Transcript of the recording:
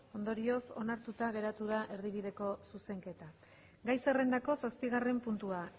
ondorioz onartuta gelditu da erdibideko zuzenketa gai zerrendako zazpigarren puntua